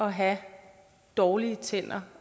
at have dårlige tænder